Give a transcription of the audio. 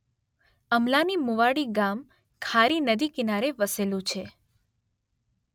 અમલાની મુવાડી ગામ ખારી નદી કિનારે વસેલુ છે